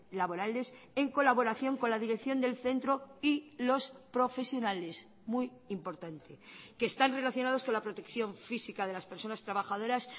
laborales en colaboración con la dirección del centro y los profesionales muy importante que están relacionados con la protección física de las personas trabajadoras